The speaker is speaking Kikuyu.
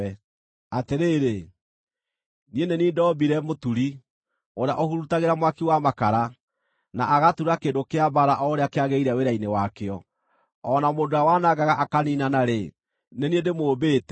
“Atĩrĩrĩ, niĩ nĩ niĩ ndoombire mũturi, ũrĩa ũhurutagĩra mwaki wa makara, na agatura kĩndũ kĩa mbaara o ũrĩa kĩagĩrĩire wĩra-inĩ wakĩo. O na mũndũ ũrĩa wanangaga akaniinana-rĩ, nĩ niĩ ndĩmũmbĩte;